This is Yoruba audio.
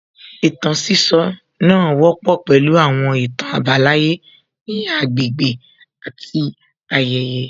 Ìtàn sísọ náà wọ́pọ̀ pẹ̀lú àwọn ìtàn àbálàyé ní agbègbè àti ayẹyẹ